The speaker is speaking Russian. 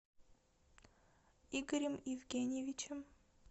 игорем евгеньевичем